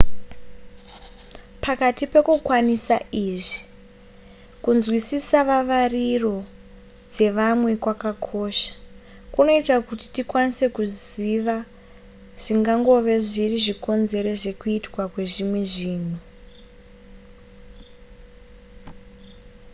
pakati pekukwanisa izvi kunzwisisa vavariro dzevamwe kwakakosha kunoita kuti tikwanise kuziva zvingangove zviri zvikonzero zvekuitwa kwezvimwe zvinhu